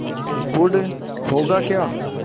गुड़ होगा क्या